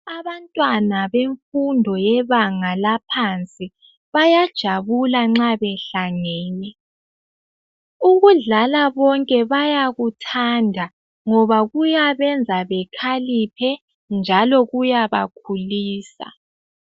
Abantwana bemfundo yebanga laphansi bayajabula nxa behlangene, ukudlala bonke bayakuthanda ngoba kuyabenza bekhaliphe njalo kuyabakhulisa.